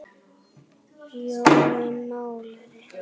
Jói málari